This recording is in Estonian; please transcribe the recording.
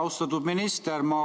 Austatud minister!